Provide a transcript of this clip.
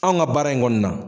Anw ka baara in kɔni na